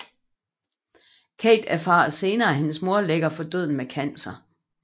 Kate erfarer senere at hendes mor ligger for døden med cancer